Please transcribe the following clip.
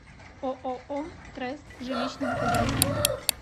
ооо трест жилищного хозяйства